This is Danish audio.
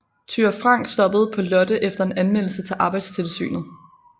Thyra Frank stoppede på Lotte efter en anmeldelse til arbejdstilsynet